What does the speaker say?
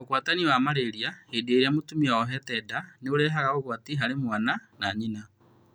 Ũgwatania wa malaria hĩndĩ ĩrĩa mũtumia oohete nda nĩũrehaga ũgwati harĩ mwana na nyina